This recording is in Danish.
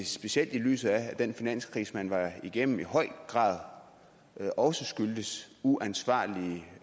specielt i lyset af at den finanskrise man var igennem i høj grad også skyldtes uansvarlige